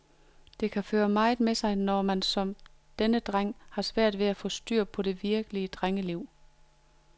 Det kan føre meget med sig, når man som denne dreng har svært ved at få styr på det virkelige drengeliv.